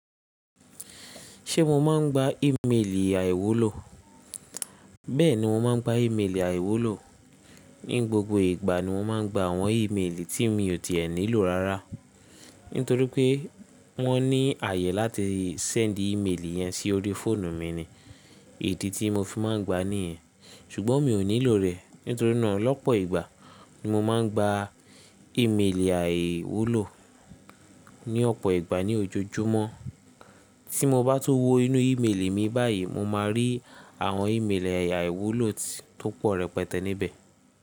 Ṣé mo máa ń gba ìmelì àìwúlò? Bẹ́ẹ̀ni, mo máa ń gba ìmelì àìwúlò. Ní gbogbo ìgbà ni mọ́ máa ń gba àwọn ìmelì tí mi ò tì ẹn nílò rárá. Nítorí pé wọ́n ní ààyè láti sẹ́ńdì ìmelì yẹn sí orí fóònù mi ni. Idi tí mo fi máa ń gba ní yẹn. Ṣùgbọ́n mi ò nílò rẹ̀. Nítorí náà lọ́pọ̀ ìgbà ni mo máa ń gba ìmelì àìwúlò. Ni ọ̀pọ̀ ìgbà ní ojoojúmọ́. Tí mo bá tó wọ inú ìmelì mi báyìí, mo máa rí àwọn ìmelì àìwúlò tó pọ̀ rẹpẹtẹ níbẹ̀.